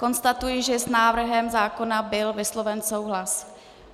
Konstatuji, že s návrhem zákona byl vysloven souhlas.